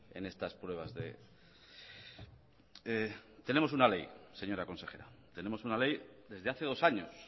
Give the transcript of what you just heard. en estas pruebas tenemos una ley señora consejera tenemos una ley desde hace dos años